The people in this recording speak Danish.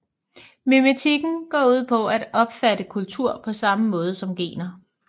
Memetikken går ud på at opfatte kultur på samme måde som gener